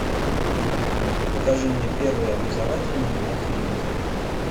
покажи мне первый образовательный на телевизоре